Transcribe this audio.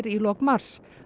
í lok mars